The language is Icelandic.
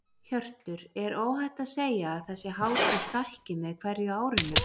Hjörtur: Er óhætt að segja að þessi hátíð stækki með hverju árinu?